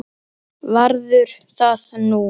Og skellir upp úr.